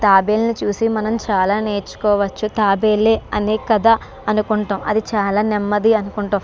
తాబేళ్లు ను చూసి మనం చాలా నేర్చుకోవచ్చు. తాబేలే అనే కదా అని మనం అనుకుంటాము. అది చాలా నెమ్మది అనుకుంటాం.